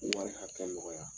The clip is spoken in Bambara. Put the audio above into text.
Wari hakɛ nɔgɔya.